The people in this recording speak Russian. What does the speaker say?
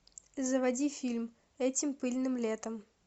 заводи фильм этим пыльным летом